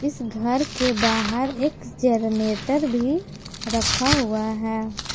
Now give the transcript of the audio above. इस घर के बाहर जरनेटर भी रखा हुआ है।